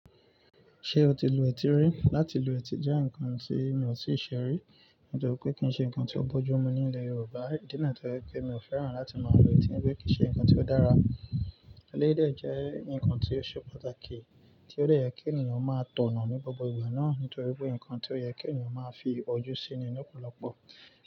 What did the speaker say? Ṣé o ti lu etí rí? Láti lu etí jẹ́ nǹkan tí mi ò tíì ṣe rí, nítorí pé kì í ṣe ǹkan tó bójú mu ní ilẹ̀ Yorùbá. Ìdí nìyìí tí ó jẹ́ pé pé mi ò fẹ́ràn láti máa lu etí, nítoríi kí í ṣe nǹkan tí ó dára. Elédyìí dẹ̀ jẹ́ nǹkan tí ó ṣe pàtàkì, tí ó dẹ̀ yẹ kí ènìyàn máa tọ̀nà ní gbogbo ìgbà náà nítorí pé nǹkan tí ó yẹ kí ènìyàn máa fi ojú síi ni lọ́pọ̀lọpọ̀.